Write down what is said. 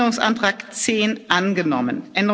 3 abgelehnt Änderungsantrag